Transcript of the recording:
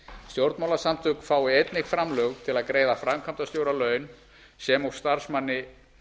stjórnmálasamtök fái einnig framlög til að greiða framkvæmdastjóra laun sem og starfsmanni